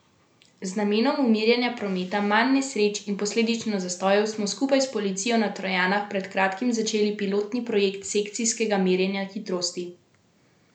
Z namenom umirjanja prometa, manj nesreč in posledično zastojev smo skupaj s policijo na Trojanah pred kratkim začeli pilotni projekt sekcijskega merjenja hitrosti.